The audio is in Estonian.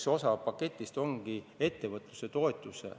Üks osa paketist ongi ettevõtluse toetus.